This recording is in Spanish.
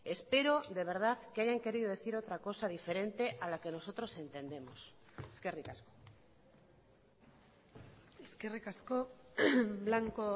espero de verdad que hayan querido decir otra cosa diferente a la que nosotros entendemos eskerrik asko eskerrik asko blanco